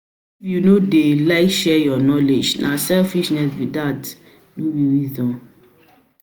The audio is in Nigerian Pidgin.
you no you no dey like share your knowledge, na selfishness be that, no be wisdom.